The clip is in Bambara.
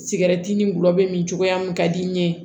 Sigɛrɛti ni gulɔ bɛ min cogoya min ka di n ye